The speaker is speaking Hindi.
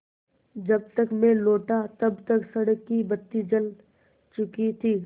जब तक मैं लौटा तब तक सड़क की बत्ती जल चुकी थी